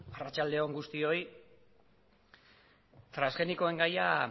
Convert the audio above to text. arratsalde on guztioi transgenikoen gaia